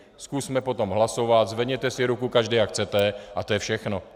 Zkusme potom hlasovat, zvedněte si ruku každý, jak chcete, a to je všechno.